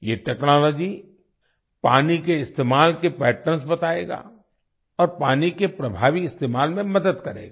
ये टेक्नोलॉजी पानी के इस्तेमाल के पैटर्न्स बताएगा और पानी के प्रभावी इस्तेमाल में मदद करेगा